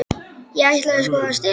Ég ætlaði sko að stela þeim.